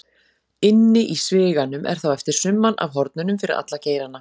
Inni í sviganum er þá eftir summan af hornunum fyrir alla geirana.